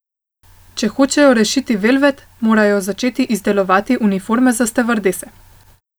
Če hočejo rešiti Velvet, morajo začeti izdelovati uniforme za stevardese.